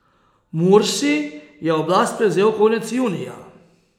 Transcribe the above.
Mursi je oblast prevzel konec junija.